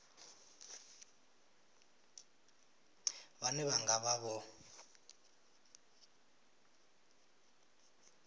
vhane vha nga vha vho